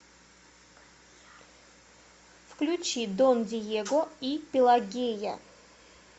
включи дон диего и пелагея